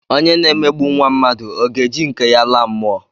Onye na-emegbu nwa mmadụ, ọ ga-eji nke ya laa mụọ?